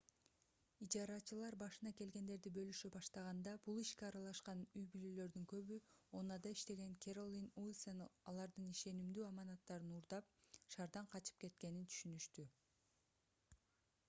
ижарачылар башына келгендерди бөлүшө баштаганда бул ишке аралашкан үй-бүлөлөрдүн көбү oha’да иштеген кэролин уилсон алардын ишенимдүү аманаттарын уурдап шаардан качып кеткенин түшүнүштү